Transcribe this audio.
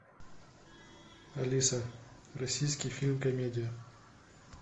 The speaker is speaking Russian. алиса российский фильм комедия